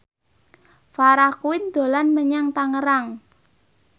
Farah Quinn dolan menyang Tangerang